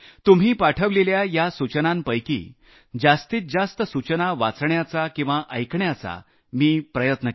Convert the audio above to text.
मी असा प्रयत्न केला आहे की यातल्या जास्तीत जास्त वाचू शकेन ऐकू शकेन